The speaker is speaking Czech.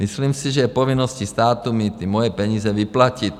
Myslím si, že je povinností státu mi ty moje peníze vyplatit.